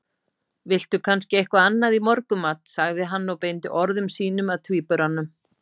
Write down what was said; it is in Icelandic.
Viltu kannski eitthvað annað í morgunmat? sagði hann og beindi orðum sínum að tvíburanum.